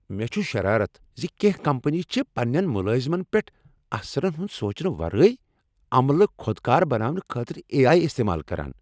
مےٚ چھ شرارت ز کینہہ کمپنیہٕ چھ پننین ملٲزمن پیٹھ اثرن ہند سوچنہ ورٲے عملہ خودکار بناونہٕ خٲطرٕ اے۔ آٮٔی استعمال کران۔